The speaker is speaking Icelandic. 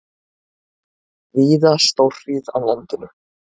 Víða stórhríð á landinu